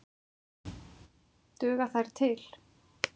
Duga þær til?